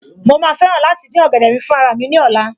Mo ma fẹ́ràn láti dín ọ̀gẹ̀dẹ̀ mi fún raramí ní ọ̀la